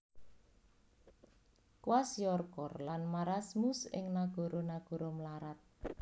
Kwashiorkor lan marasmus ing nagara nagara mlarat